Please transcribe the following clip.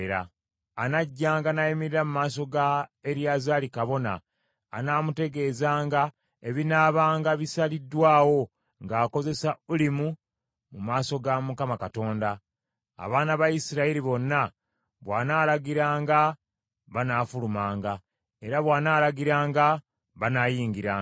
Anajjanga n’ayimirira mu maaso ga Eriyazaali kabona anaamutegeezanga ebinaabanga bisaliddwawo ng’akozesa Ulimu mu maaso ga Mukama Katonda. Abaana ba Isirayiri bonna, bw’anaalagiranga banaafulumanga, era bw’anaalagiranga banaayingiranga.”